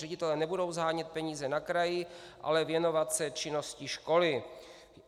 Ředitelé nebudou shánět peníze na kraji, ale věnovat se činnosti školy.